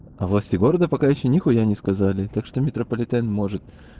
а власти города пока ещё ни хуя не сказали так что метрополитен может